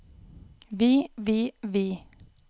vi vi vi